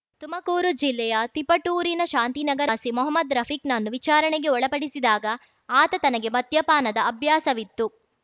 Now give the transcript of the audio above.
ತುಮಕೂರು ಜಿಲ್ಲೆಯ ತಿಪಟೂರಿನ ಶಾಂತಿನಗರದ ನಿವಾಸಿ ಮೊಹಮ್ಮದ್‌ ರಫೀಕ್‌ನನ್ನು ವಿಚಾರಣೆಗೆ ಒಳಪಡಿಸಿದಾಗ ಆತ ತನಗೆ ಮದ್ಯಪಾನದ ಅಭ್ಯಾಸವಿತ್ತು